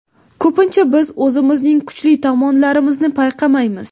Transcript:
Ko‘pincha biz o‘zimizning kuchli tomonlarimizni payqamaymiz.